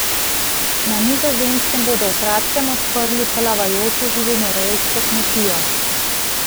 Na Nizozemskem bodo v kratkem odprli plavajočo živinorejsko kmetijo.